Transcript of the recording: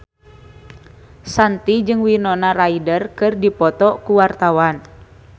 Shanti jeung Winona Ryder keur dipoto ku wartawan